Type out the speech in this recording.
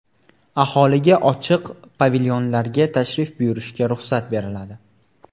Aholiga ochiq pavilyonlarga tashrif buyurishga ruxsat beriladi.